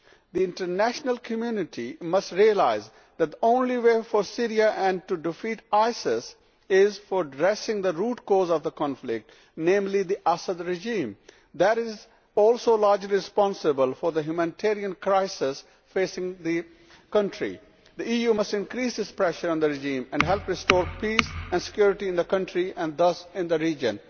The international community must realise that the only way forward for Syria and to defeat ISIS is to address the root cause of the conflict, namely the Assad regime. That is also largely responsible for the humanitarian crisis facing the country. The EU must increase its pressure on the regime and help restore peace and security in the country and thus in the region.